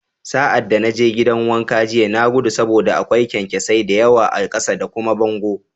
Sa'ad da na je gidan wanka jiya, na gudu saboda akwai kyankyasai da yawa a ƙasa da kuma bango